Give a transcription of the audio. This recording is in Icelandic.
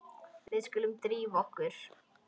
Við skulum drífa okkur.